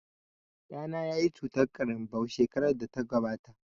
Ɗana yayi cutar ƙarinbau shekarar da ta gabata